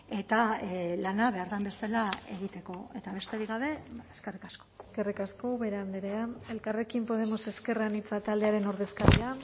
eta lana behar den bezala egiteko eta besterik gabe eskerrik asko eskerrik asko ubera andrea elkarrekin podemos ezker anitza taldearen ordezkaria